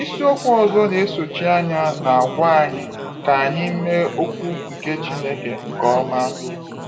Isi okwu ọzọ n'esochi anya na-agwa anyị 'ka anyị mee okwu nke Chineke nke ọma.